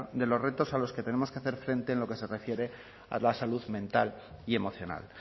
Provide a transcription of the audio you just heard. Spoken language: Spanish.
de los retos a los que tenemos que hacer frente en lo que se refiere a la salud mental y emocional